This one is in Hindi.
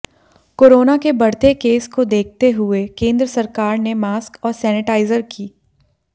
कोरोना के बढ़ते केस को देखते हुए केंद्र सरकार ने मास्क और सेनेटाइजर की